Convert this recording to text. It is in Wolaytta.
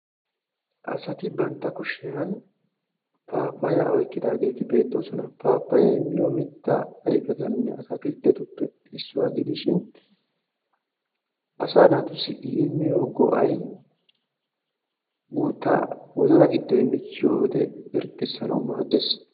asati bantta kushiyan paapayaa oyqqidaageeti beetoosona. paappayay miyo mitaa woykko ataakiltettuppe issuwa gidishin asaa naatussi imiyo go'ay guutaa wozana giddoy michchiyode irxxisanawu maadees.